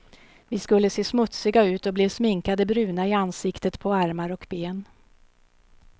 Vi skulle se smutsiga ut och blev sminkade bruna i ansiktet, på armar och ben.